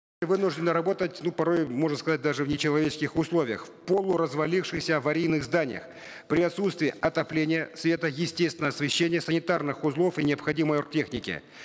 вынуждены работать ну порой можно сказать даже в нечеловеческих условиях в полуразвалившихся аварийных зданиях при отсутствии отопления света естественного освещения санитарных узлов и необходимой оргтехники